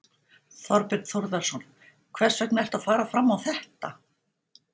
Þorbjörn Þórðarson: Hvers vegna ertu að fara fram á þetta?